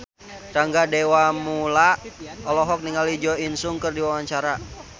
Rangga Dewamoela olohok ningali Jo In Sung keur diwawancara